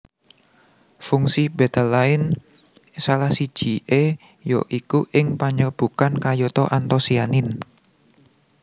Fungsi betalain salah sijie ya iku ing panyerbukan kayata antosianin